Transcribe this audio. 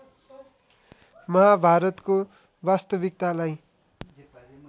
महाभारतको वास्तविकतालाई